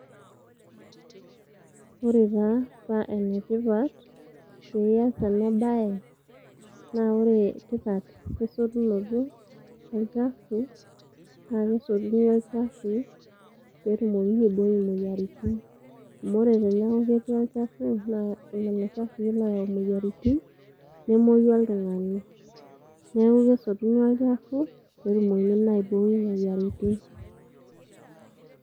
Ore taa paa ene tipat pias ena bae naa ore tipat esotunoto olchafu naa kesotuni olchafu petumokini aibooi imoyiaritin .Amu ore teniaku ketii olchafu naa lelo chafui loyau imoyiaritin nemwoyu oltungani , neeku kesotuni olchafu petumoki naa aibooi imoyiaritin.